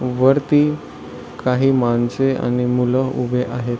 वरती काही माणसे आणि मुल उभे आहेत.